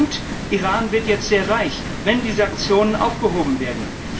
Und Iran wird jetzt sehr reich, wenn die Sanktionen aufgehoben werden.